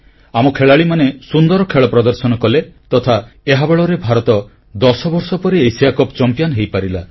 ଆମ ଖେଳାଳିମାନେ ସୁନ୍ଦର ଖେଳ ପ୍ରଦର୍ଶନ କଲେ ତଥା ଏହା ବଳରେ ଭାରତ ଦଶବର୍ଷ ପରେ ଏସିଆ କପ୍ ଚମ୍ପିଆନ ହୋଇପାରିଲା